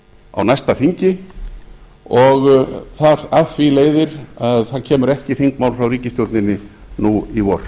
á næsta þingi og af því leiðir að það kemur ekki þingmál frá ríkisstjórninni nú í vor